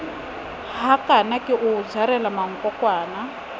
hakana ke o jarela mankokwana